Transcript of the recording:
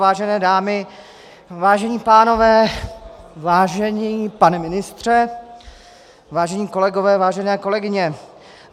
Vážené dámy, vážení pánové, vážený pane ministře, vážení kolegové, vážené kolegyně.